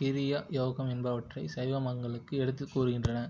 கிரியை யோகம் என்பவற்றைச் சைவாகமங்கள் எடுத்துக் கூறுகின்றன